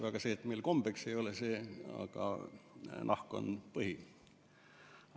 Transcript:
Lihtsalt meil siin ei ole kombeks seda süüa, nahk on põhiline.